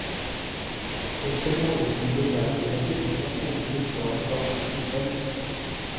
Etter mange viderverdigheter fikk han endelig svaret fra fuglen selv.